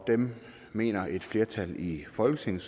dem mener et flertal i folketinget